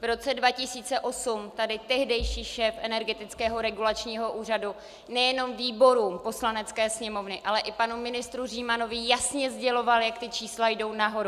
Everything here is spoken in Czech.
V roce 2008 tady tehdejší šéf Energetického regulačního úřadu nejenom výborům Poslanecké sněmovny, ale i panu ministru Římanovi jasně sděloval, jak ta čísla jdou nahoru.